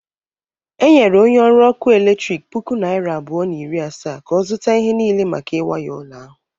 Enyere onye ọrụ ọkụ eletrik puku naịra abụọ na iri asaa ka ọ zụta ihe niile maka iwaya ụlọ ahụ.